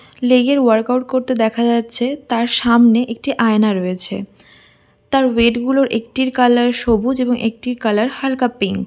Leg -এর work out করতে দেখা যাচ্ছে তার সামনে একটি আয়না রয়েছে তার ওয়েট - গুলোর একটির কালার সবুজ এবং একটি কালার হালকা পিঙ্ক ।